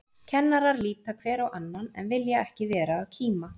Kennarar líta hver á annan, en vilja ekki vera að kíma.